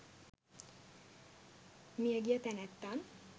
මිය ගිය තැනැත්තන්